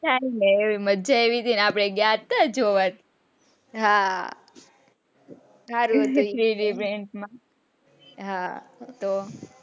મજા આવી હતી ને અપને ગયા તા ને જોવા હા સારું હતું એ હા તો,